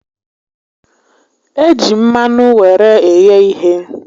E ji mmanụ were eghe ihe